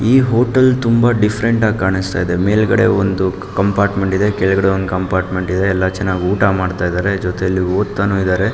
ಈ ಹೋಟೆಲ್ ತುಂಬ ಡಿಫರೆಂಟ್ ಆಗಿ ಕಾಣಿಸುತ್ತ ಇದೆ ಮೇಲ್ಗಡೆ ಒಂದ್ ಕಂಪಾರ್ಟ್ಮೆಂಟ್ ಇದೆ ಕೆಳಗಡೆ ಕಂಪಾರ್ಟ್ಮೆಂಟ್ ಇದೆ ಎಲ್ಲ ಊಟ ಮಾಡ್ತಾ ಇದ್ದಾರೆ ಜೊತೆಯಲ್ಲಿ ಓದ್ತಾ ಇದ್ದಾರೆ.